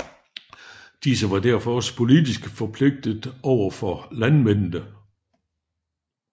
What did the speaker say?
Disse var derfor også politisk forpligtede overfor landmændene